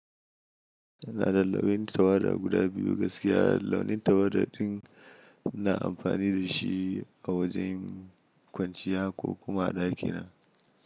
Ana lullube launi tawada guda biyu gaskiya launin tawada din na amfani da shi a wajen kwanciya ko kuma a ɗakina.